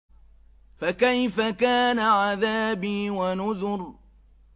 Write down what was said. فَكَيْفَ كَانَ عَذَابِي وَنُذُرِ